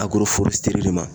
Agoroforɛsiteri de ma